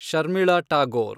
Sharmila Tagore